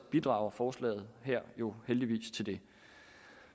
bidrager forslaget her jo heldigvis til det